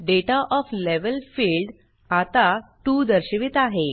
data of level field आता 2 दर्शवित आहे